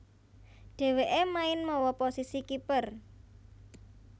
Dhèwèké main mawa posisi kiper